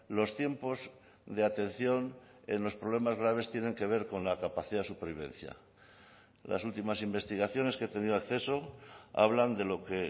los tiempos de atención en los problemas graves tienen que ver con la capacidad de supervivencia las últimas investigaciones que he tenido acceso hablan de lo que